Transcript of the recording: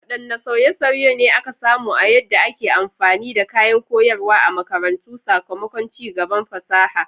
Wadanne sauye-sauye ne aka samu a yadda ake amfani da kayan koyarwa a makarantu sakamakon ci gaban fasaha?